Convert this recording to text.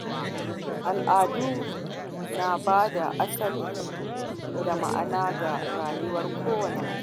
Al’adu na bada asali da ma’ana ga rayuwar kowanne mutum.